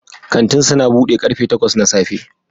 Kantin suna bude karfe takwas na safe